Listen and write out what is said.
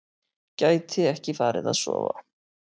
Gæti ekki farið að sofa.